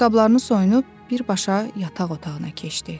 Ayaqqabılarını soyunub birbaşa yataq otağına keçdi.